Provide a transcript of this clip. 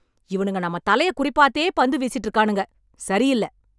இவனுங்க நம்மத் தலையக் குறிபார்த்தே பந்து வீசிட்டு இருக்கானுங்க. சரி இல்ல.